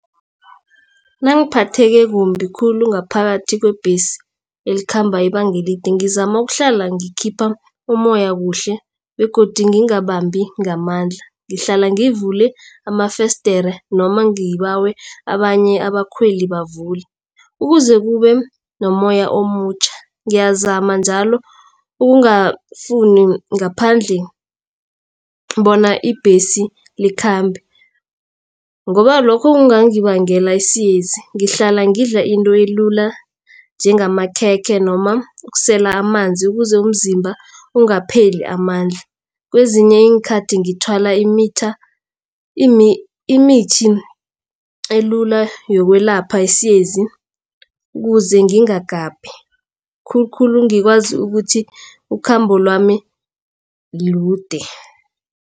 Nangiphatheke kumbi khulu ngaphakathi kwebhesi elikhamba ibanga elide ngizama ukuhlala ngikhipha ummoya kuhle begodu ngingabambi ngamandla. Ngihlale ngivule amafesidere noma ngibawa abanye abakhweli bavule. Ukuze kube nommoya omutjha ngiyazama njalo ukungafuni ngaphandle bona ibhesi likhambe ngoba lokho kungangibangela isiyezi. Ngihlala ngidla into elula njengamakhekhe noma ukusela amanzi ukuze umzimba ungapheli amandla. Kwezinye iinkhathi ngithwala imithi elula yokwelapha isiyezi ukuze ngingagabhi khulukhulu ngikwazi ukuthi ukhambo lami lude.